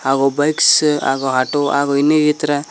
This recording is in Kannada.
ಹಾಗು ಬೈಕ್ಸ್ ಹಾಗು ಆಟೋ ಹಾಗು ಇನ್ನು ಇತರ.